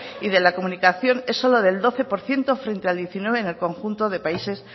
y de la comunicación es solo del doce por ciento frente al diecinueve en el conjunto de países